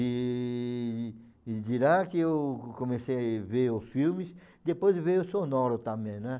E e de lá que eu comecei a ver os filmes, depois veio o sonoro também, né?